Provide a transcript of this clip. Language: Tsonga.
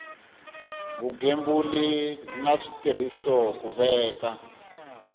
vugembuli na switirhiso ku veka